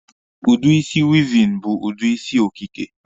Udi isi wịịvịn bụ udi isi okike.